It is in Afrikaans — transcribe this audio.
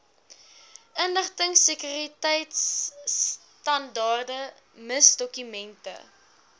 inligtingsekuriteitstandaarde miss dokumente